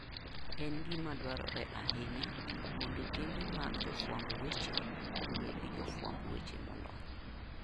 En gima dwarore ahinya mondo kembe mag jofwamb weche obed gi jofwamb weche molony.